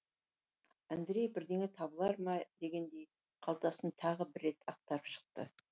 андрей бірдеңе табылар ма екен дегендей қалтасын тағы бір рет ақтарып шықты